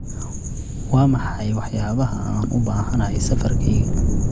waa maxay waxyaabaha aan u baahanahay safarkayga